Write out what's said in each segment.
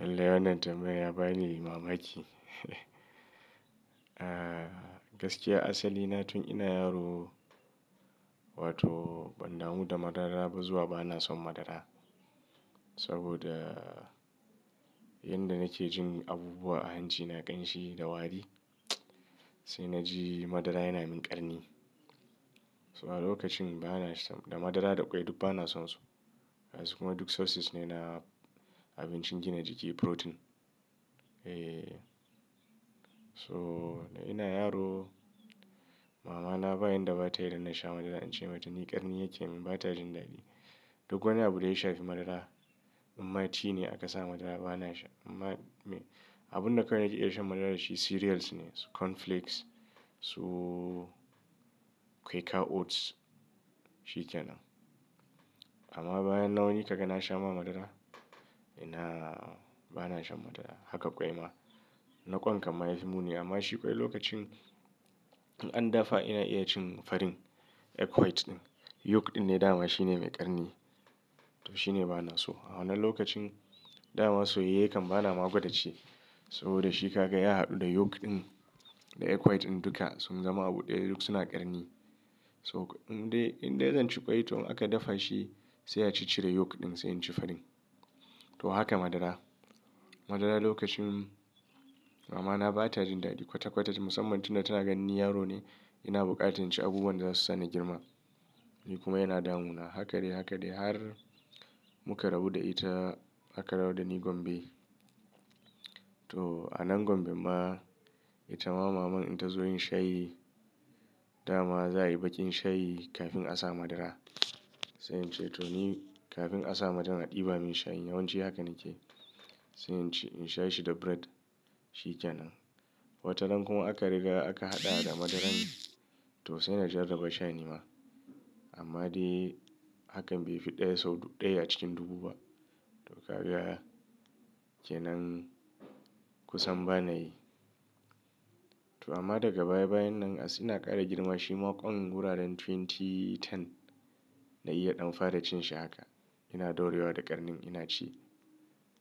Lallai wannan tambayar ya bani mamaki. Gaskiya asalina tun ina yaro wato ban damu da madara ba zuwa banason madara. Saboda yanda nakejin abubuwa a hancina ƙanshi da wari, sai naji madara yana min ƙarni. So a lokacin bana sha da madara da ƙwai duk bana sonsu. Gasu kuma duk sources ne na abincin gina jiki, protein. Eeeh. So ina yaro mamana ba yanda ba tayi danna sha madara in ce mata ni ƙarni yake min bata jin daɗi. Duk wani abu daya shafi madara, imma cine a kasa madara banasha. Abunda kawai nake iya shan madara dashi cereals ne, su cornflakes su quicker oats, shikenan. Amma bayan nan waini kaga nasha ma madara? Ina bana shan madara. Haka ƙwai ma. Na ƙwan kam yafi muni amma shi ƙwai lokacin in an dafa ina iya cin farin egg white ɗin. Yolk dinne dama shine mai ƙarni to shine banaso. A wannan lokacin dama soyayye kan banama gwadaci saboda shi ka ga ya haɗu da yolk ɗin da egg white ɗin duka sun zama abu ɗaya duk suna ƙarni. To indai indai zanci ƙwai to in aka dafashi sai a ciccire yolk ɗin sai inci farin. To haka madara. Madara lokacin mamana batajin daɗi kwata kwata ce musamman tunda tana ganin ni yarone ina bukatan inci abubuwanda zasu sani girma. Ni kuma yana damuna hakadai, hakadai har muka rabu da ita aka dawo dani Gombe. To a nan Gombemma itama maman in tazo yin shayi dama za'ayi baƙin shayi kafin a sa madara. Sai ince toni kafin a sa madara a ɗibamin shayi yawanci haka nakeyi. Sai inci insha shi da bread shike nan. Wataran kuma aka riga aka hada da madaran to sai nasha nabassha nima amma dai hakan baifi ɗaya sau ɗaya a cikin dubu ba. To kaga kenan kusan banayi. To amma daga baya bayannan as ina ƙara girma shima kwan wuraren 2010 na iya ɗan fara cinshi haka. Ina daurolewa da ƙarnin inaci.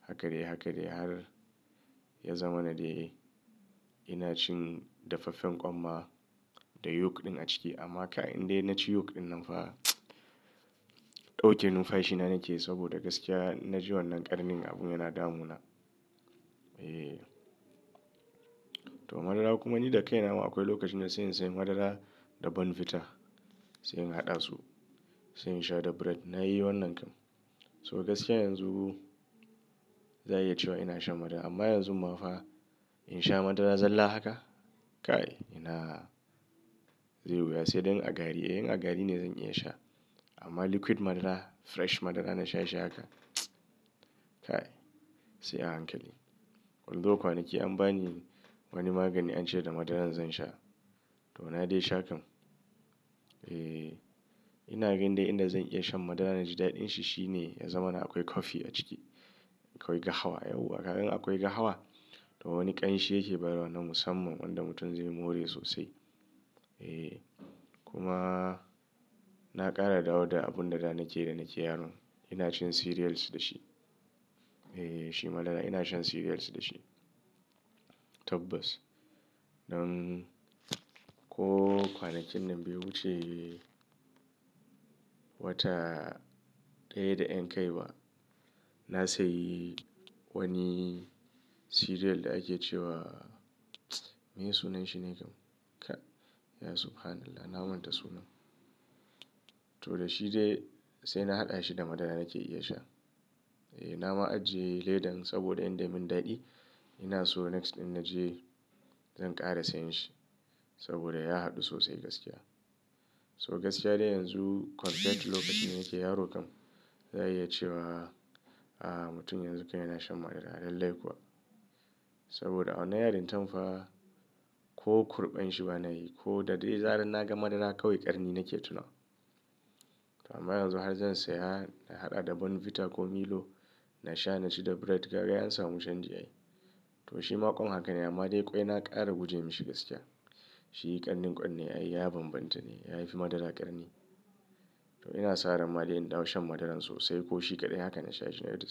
Hakadai, hakadai har ya zamana dai inacin dafaffen ƙwan ma da yolk ɗin a ciki. Amma kai indai naci yolk ɗin nanfa ɗauke numfashina nakeyi saboda gaskiya in naji wannan ƙarnin abun yana damuna. Eeeh. To madara kumani da kaina ama akwai lokacinda sai in sayu madara da Bonvita sai in haɗasu sai insha da bread. Nayi wannan kam. So gaskiya yanzu za'a yi cewa ina shan madara amma yanzu mafa in sha madara zalla haka? Kai ina zeyi wuya, saidai in a gari. Eh in a gari ne zan iya sha amma liquid madara fresh madara nasha shi haka kai sai a hankali. Although kwanaki an bani wani magani ance da madaran zan sha to nadai sha kam. Eeeh. Ina gan dai inda zan iya shan madara naji daɗin shi shine ya zamana akwai kofi a ciki. Ko lahwa yawwa kaga indai akwai lahwa to wani kamshi yake bayarwa na musamman wanda mutum zai more sosai eh kuma na kara dawo da abunda da nake da nake yaro inashan siriyal dashi Eeeh shi madara ina shan cereals da shi. Tabbas. Nan ko kwanakin nan bai wuce wata ɗaya da yan kaiba. Na sayi wani cereal da ake cewa meye sunan shine kam? Kai ya Subhanallah na manta sunan. To dashi dai saina haɗashi da madara nake iyasha. Eeeh nama ajiye ledan saboda inda mun daɗe inaso next innaje zan ƙara sayan shi saboda ya haɗu sosai gaskiya. So gaskiya dai yanzu compared to lokacinda nake yaro kam za'a iyi cewa aah mutum yanzu kai yana shan madara lallai kuwa. Saboda a wannan yarintamfa, ko kurɓan shi banayi koda dai zarar naga madara kawai ƙarni nake tunawa. To amma yanzu har zan saya na haɗa da Bonvita ko Milo na sha naci da bread kaga ai ansamu canji ai. To shima kwann hakane amma dai ƙwai na ƙara guje mishi gaskiya. Shi ƙarnin ƙwanne aiya banbanta ne yafi madara ƙarni. To inasa ranma dai in dawo shan madaran sosai koshi kaɗai haka na sha shine duk.